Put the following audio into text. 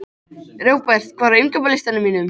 Robert, hvað er á innkaupalistanum mínum?